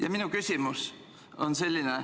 Ja minu küsimus on selline.